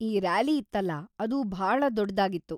ಈ ರ್ಯಾಲಿ ಇತ್ತಲ್ಲ ಅದು ಭಾಳ ದೊಡ್ದಾಗಿತ್ತು.